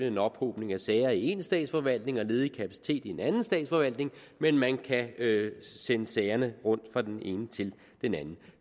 en ophobning af sager i én statsforvaltning og ledig kapacitet i en anden statsforvaltning men man kan sende sagerne rundt fra den ene til den anden